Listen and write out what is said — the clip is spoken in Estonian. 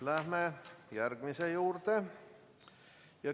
Läheme järgmise küsimuse juurde.